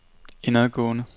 indadgående